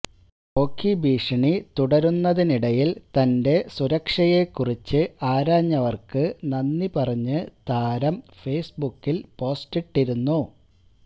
ഓഖി ഭീഷണി തുടരുന്നതിനിടയില് തന്റെ സുരക്ഷയെക്കുറിച്ച് ആരാഞ്ഞവര്ക്ക് നന്ദി പറഞ്ഞ് താരം ഫേസ്ബുക്കില് പോസ്റ്റിട്ടിരുന്നു